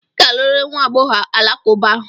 Ị ga-alụrịrị nwa agbọghọ alakụba ahụ!